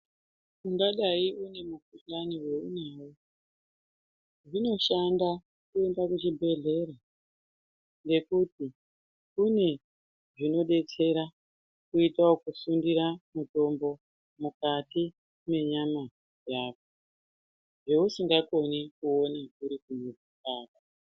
Ungadai une mukuhlani waunawo zvinoshanda kuenda kuchibhehleya ngekuti kune zvinodetsera kuita ekusundira mutombo mukati menyama yako zvausingakoni kuone uri kumuzi kwako.